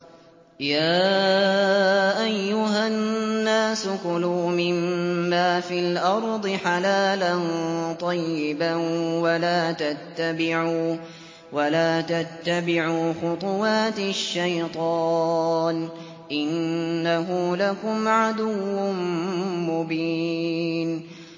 يَا أَيُّهَا النَّاسُ كُلُوا مِمَّا فِي الْأَرْضِ حَلَالًا طَيِّبًا وَلَا تَتَّبِعُوا خُطُوَاتِ الشَّيْطَانِ ۚ إِنَّهُ لَكُمْ عَدُوٌّ مُّبِينٌ